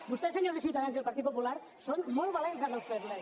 vostès senyors de ciutadans i el partit popular són molt valents amb els febles